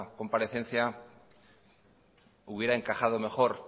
comparecencia hubiera encajado mejor